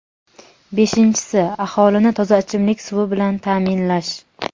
Beshinchisi — aholini toza ichimlik suvi bilan ta’minlash.